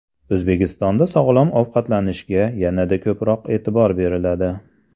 O‘zbekistonda sog‘lom ovqatlanishga yanada ko‘proq e’tibor beriladi.